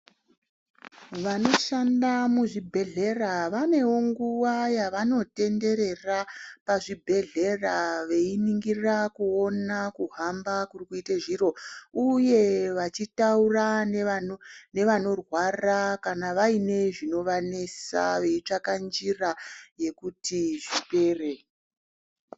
Vano shanda muzvi bhedhlera vanewo nguva yavano tetenderera pazvi bhedhlera veiningira kuona kuhamba kuri kuite zviro uye vachitaura ngeva norwara kana vaine zvino vanetsa veitsvaka nzira yekuti zvipere .